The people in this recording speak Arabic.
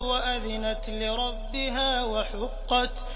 وَأَذِنَتْ لِرَبِّهَا وَحُقَّتْ